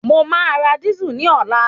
Mo máa ra dísù ní ọ̀la